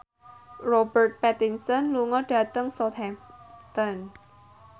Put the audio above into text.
Robert Pattinson lunga dhateng Southampton